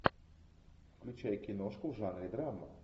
включай киношку в жанре драма